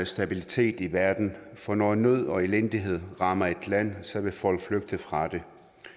stabilitet i verden for når nød og elendighed rammer et land vil folk flygte fra det